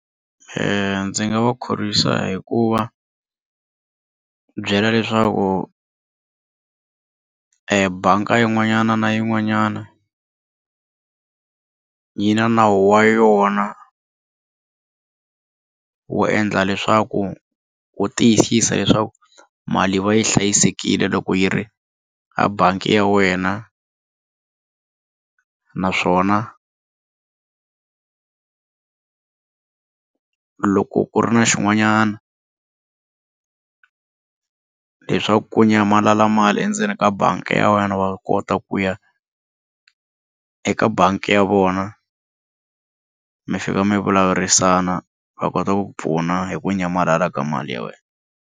Ndzi nga va khorwisa hi ku va byela leswaku e banga yin'wana na yin'wanyana yi na nawu wa yona wo endla leswaku wu tiyisisa leswaku mali va yi hlayisekile loko yi ri a bangi ya wena naswona loko ku ri na xin'wanyana leswaku ku nyamalala mali endzeni ka bangi ya wena wa kota ku ya eka bangi ya vona mi fika mi vulavurisana va kota ku pfuna hi ku nyamalala ka mali ya wena.